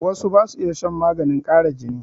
Wasu ba su iya shan maganin ƙara jini.